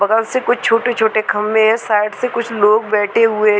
बगल से कुछ छोटे-छोटे खम्भे साइड से कुछ लोग बैठे हुए है ।